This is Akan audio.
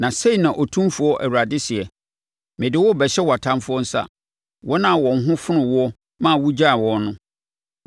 “Na sei na Otumfoɔ Awurade seɛ: Mede wo rebɛhyɛ wʼatamfoɔ nsa, wɔn a wɔn ho fonoo woɔ ma wogyaee wɔn no.